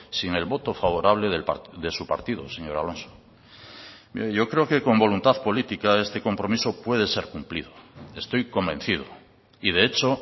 sin el voto favorable de su partido señor alonso mire yo creo que con voluntad política este compromiso puede ser cumplido estoy convencido y de hecho